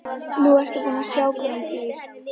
Nú ertu búin að sjá hvar hún býr.